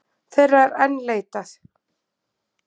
Þeirra er enn leitað